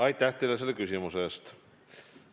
Aitäh teile selle küsimuse eest!